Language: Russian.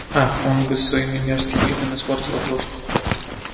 ах он бы своими мерзким видом испортил обложку